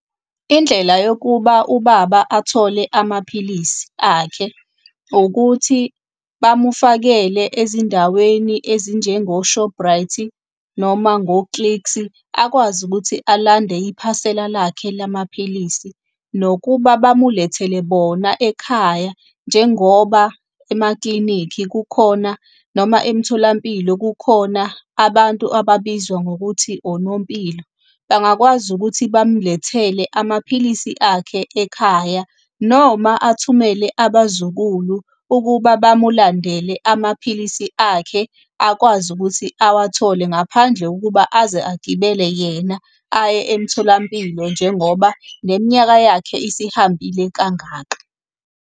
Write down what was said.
Indlela yokuba ubaba athole amaphilisi akhe, ukuthi bamufakele ezindaweni ezinjengo-Shopright-i, noma ngo-clicks-i, akwazi ukuthi alande iphasela lakhe lamaphilisi. Nokuba bamulethele bona ekhaya njengoba emaklinikhi kukhona, noma emtholampilo kukhona abantu ababizwa ngokuthi onompilo, bangakwazi ukuthi bamulethele amaphilisi akhe ekhaya. Noma athumele abazukulu ukuba bamulandele amaphilisi akhe akwazi ukuthi awathole ngaphandle kokuba aze agibele yena aye emtholampilo njengoba neminyaka yakhe isihambile kangaka.